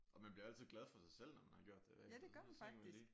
Og man bliver jo altid glad for sig selv når man har gjort det. Så tænker man lige